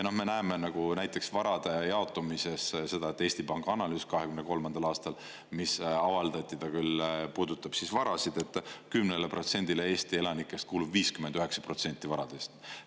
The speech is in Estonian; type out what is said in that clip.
Me näeme näiteks varade jaotumises seda – Eesti Panga analüüs 2023. aastal, mis avaldati, ta küll puudutab varasid –, et 10%-le Eesti elanikest kuulub 59% varadest.